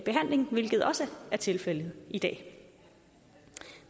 behandling hvilket også er tilfældet i dag